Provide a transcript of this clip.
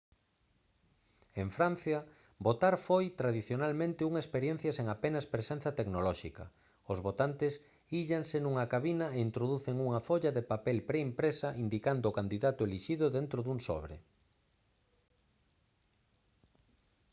en francia votar foi tradicionalmente unha experiencia sen apenas presenza tecnolóxica os votantes íllanse nunha cabina e introducen unha folla de papel preimpresa indicando o candidato elixido dentro dun sobre